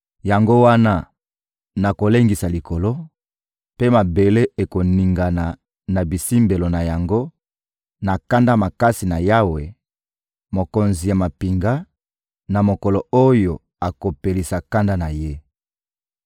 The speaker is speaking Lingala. Yango wana nakolengisa likolo, mpe mabele ekoningana na bisimbelo na yango na kanda makasi ya Yawe, Mokonzi ya mampinga, na mokolo oyo akopelisa kanda na Ye.